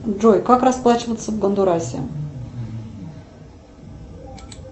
джой как расплачиваться в гондурасе